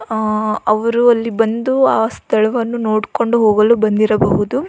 ಆ ಅವರು ಅಲ್ಲಿ ಬಂದು ಆ ಸ್ಥಳವನ್ನು ನೋಡ್ಕೊಂಡು ಹೋಗಲು ಬಂದಿರಬಹುದು .